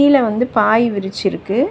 கீழ வந்து பாய் விரிச்சி இருக்கு.